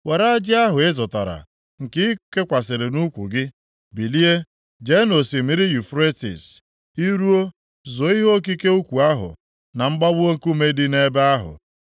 “Were ajị ahụ ị zụtara, nke i kekwasịrị nʼukwu gị, bilie, jee nʼosimiri Yufretis. I ruo, zoo ihe okike ukwu ahụ na mgbawa nkume dị nʼebe ahụ.”